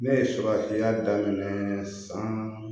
Ne ye sugandilan daminɛ san